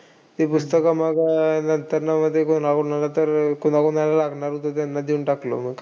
ते पुस्तकं मग अह नंतर हवे तर कोणाकोणाला तर, कोणाकोणाला लागणार होत त्यांना देऊन टाकलं मग.